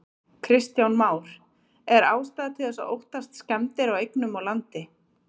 Kristján Már: Er ástæða til þess að óttast skemmdir á eignum og landi?